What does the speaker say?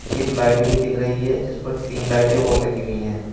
एक लाइट भी दिख रही है जिसपर तीन लाइटें और लगी हुई हैं।